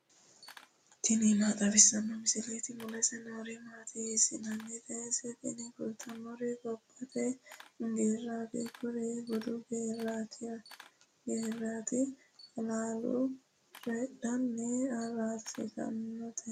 tini maa xawissanno misileeti ? mulese noori maati ? hiissinannite ise ? tini kultannori gobbate geerraati kurino bude agartannoreeti halaale coyiidhe araarsitannoreeti.